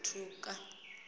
o ṱ u ṱ uwedza